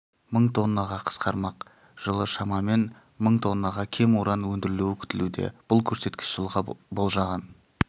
мың тоннаға қысқармақ жылы шамамен мың тоннаға кем уран өндірілуі күтілуде бұл көрсеткіш жылға болжаған